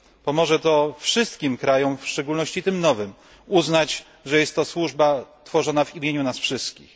Pomoże to wszystkim krajom, w szczególności tym nowym, uznać, że jest to służba tworzona w imieniu nas wszystkich.